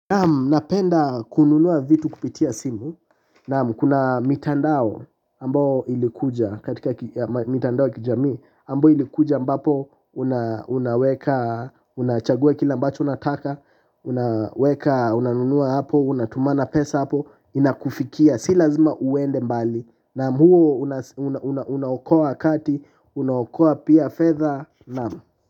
Naam, napenda kununua vitu kupitia simu, naam kuna mitandao amboo ilikuja katika mitandao ya kijami, ambao ilikuja ambapo, unaweka, unachagua kile ambacho, unataka, unaweka, unanunua hapo, unatumana pesa hapo, inakufikia, si lazima uende mbali, naam, unaokoa wakati, unaokoa pia fedha, naam.